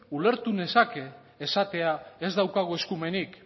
ulertu nezake esatea ez daukagu eskumenik